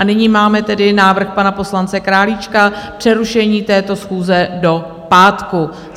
A nyní máme tedy návrh pana poslance Králíčka přerušení této schůze do pátku.